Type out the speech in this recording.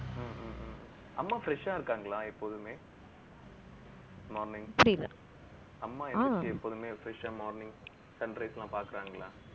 ஹம் ஹம் ஹம் அம்மா fresh ஆ இருக்காங்களா, எப்போதுமே morning அம்மா எப்போதுமே fresh ஆ morning sunrise எல்லாம் பாக்குறாங்களா